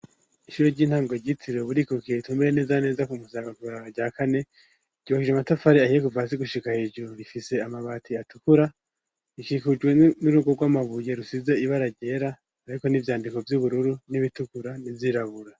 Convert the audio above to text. Ishure ry'intango ryitiriwe Burikukiye ritumeye neza neza ku Musaga kw'ibaraba rya kane ryubakije amatafari ahiye kuva hasi gushika hejuru, rifise amabati atukura rikikujwe n'urugo rw'amabuye rusize ibara ryera hariko n'ivyandiko vy'ubururu n'ibitukura nivyirabura.